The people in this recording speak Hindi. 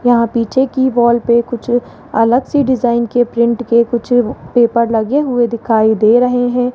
यहां पीछे की वॉल पे कुछ अलग सी डिजाइन के प्रिंट के कुछ पेपर लगे हुए दिखाई दे रहे हैं।